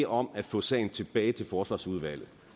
om at få sagen tilbage til forsvarsudvalget